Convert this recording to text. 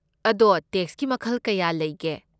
ꯑꯗꯣ ꯇꯦꯛꯁꯀꯤ ꯃꯈꯜ ꯀꯌꯥ ꯂꯩꯒꯦ?